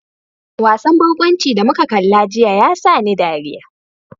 Wasan barkwanci da muka kalla jiya ya sa ni dariya.